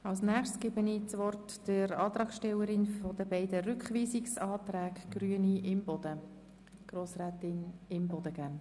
Als Nächstes erteile ich das Wort der Antragstellerin der beiden Rückweisungsanträge, Grossrätin Imboden.